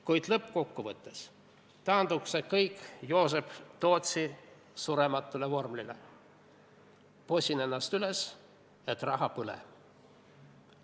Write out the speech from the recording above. Kuid lõppkokkuvõttes taandub see kõik Joosep Tootsi surematule vormelile "posin ennast üles et raha põle".